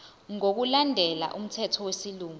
ngokulandela umthetho wesilungu